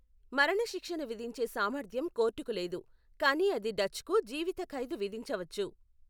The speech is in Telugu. మరణశిక్షను విధించే సామర్థ్యం కోర్టుకు లేదు, కానీ అది డచ్కు జీవిత ఖైదు విధించవచ్చు.